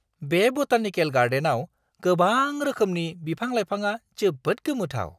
बे बटानिकेल गार्डेनआव गोबां रोखोमनि बिफां-लाइफाङा जोबोद गोमोथाव!